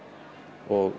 og